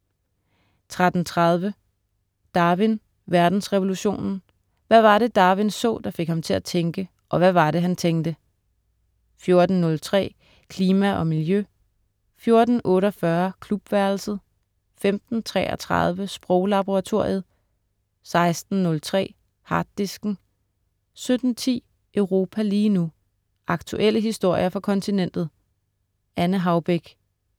13.30 Darwin: Verdensrevolutionen, Hvad var det, Darwin så, der fik ham til at tænke. Og hvad var det, han tænkte? 14.03 Klima og miljø* 14.48 Klubværelset* 15.33 Sproglaboratoriet* 16.03 Harddisken* 17.10 Europa lige nu. Aktuelle historier fra kontinentet. Anne Haubek